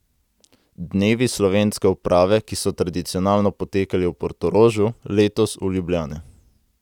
Dnevi slovenske uprave, ki so tradicionalno potekali v Portorožu, letos v Ljubljani.